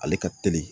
Ale ka teli